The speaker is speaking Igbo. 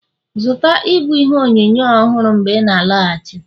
zụta ịbụ ihe onyonyo ọhụrụ mgbe ị na-alọghachi